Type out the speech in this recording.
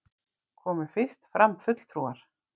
Komu fyrst fram fulltrúar